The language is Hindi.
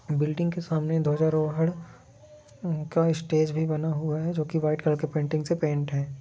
बिल्डिंग के सामने धजा रोह का स्टेज भी बना हुआ है जो की वाईट कलर की पेंटिंग से पेंट है ।